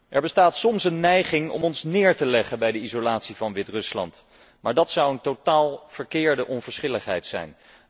Er bestaat soms een neiging om ons neer te leggen bij de isolatie van Wit Rusland, maar dat zou een totaal verkeerde onverschilligheid zijn.